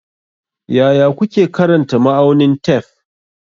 Yaya kuke karanta ma'aunin tef?